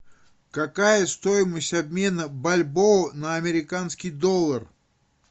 какая стоимость обмена бальбоа на американский доллар